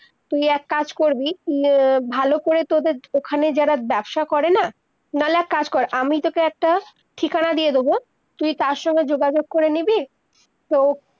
তুই এক কাজ করবি, উম ভালো করে তদের ওখানে যারা ব্যবসা করে না, নাহলে এক কাজ কর আমি তোকে একটা ঠিকানা দিয়ে দদেব, তুই তার সঙ্গে যোগাযোগ করে নিবি, তো